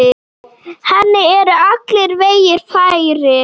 Henni eru allir vegir færir.